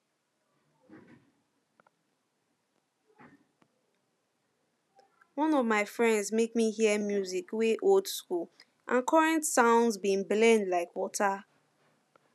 one of my friends make me hear music wey old school and current sounds bin blend like water